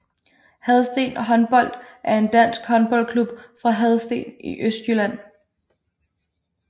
Hadsten Håndbold er en dansk håndboldklub fra Hadsten i Østjylland